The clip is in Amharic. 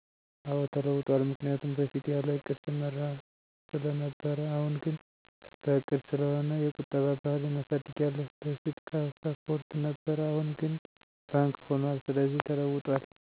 አወ ተለውጠዋል ምክንያቱም በፊት ያለ ዕቅድ ሰመራ ስለ ነበር አሁን ግን በዕቅድ ስለሆነ የቁጠባ ባህሌን አሳድጊያለሁ በፉት ካስፖርት ነበር አሁን ግን ባንክ ሁኑአል ስለዚህ ተለውጦል።